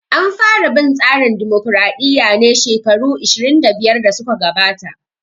An fara bin tsarin dimokraɗiya ne shekaru 25 da suka gabata